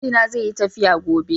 Mijina zeyi tafiya gobe.